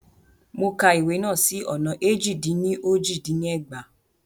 Mo ka ìwé náà sì ọ̀nà éjì-dín-ní-ojì dín ní ẹgbàá.